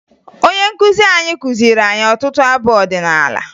Onye nkụzi anyị kụziri anyị ọtụtụ abụ ọdịnaala